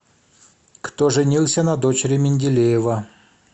кто женился на дочери менделеева